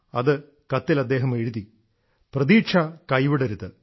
അത കത്തിൽ അദ്ദേഹം എഴുതി പ്രതീക്ഷ കൈവിടരുത്